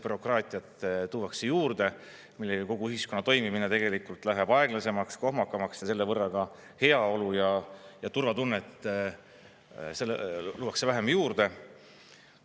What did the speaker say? Bürokraatiat tuuakse juurde, millega kogu ühiskonna toimimine tegelikult läheb aeglasemaks, kohmakamaks ja selle võrra ka heaolu ja turvatunnet luuakse vähem juurde.